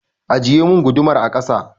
Ajiyemin gudumar a kasa!